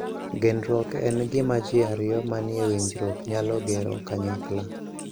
Genruok en gima ji ariyo manie winjruok nyalo gero kanyakla.